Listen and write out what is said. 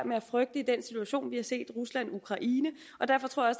med at frygte i den situation vi har set rusland og ukraine og derfor tror jeg